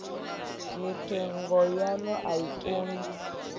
mithenga yaḽo a i kungi